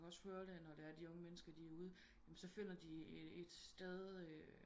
Man kan jo også høre det når de unge mennesker er ude så finder de et sted